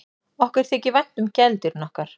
Okkur þykir vænt um gæludýrin okkar.